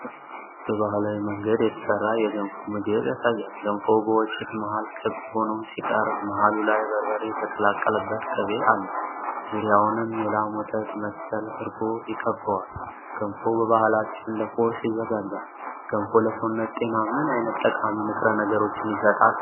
በባህላዊ መንገድ የተሰራ የገንፎ ምግብ ያሳያል። ገንፎው በወጭት መሃል ክብ ሆኖ ሲቀርብ፣ መሃሉ ላይ በርበሬ የተቀላቀለበት ቅቤ አለ። ዙሪያውንም የላም ወተት መሰለ እርጎ ይከብበዋል። ገንፎ በባህላችን ለቁርስ ይዘጋጃል። ገንፎ ለሰውነት ጤና ምን ዓይነት ጠቃሚ ንጥረ ነገሮችን ይሰጣል?